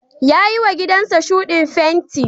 Ya yiwa gidansa shuɗin fenti.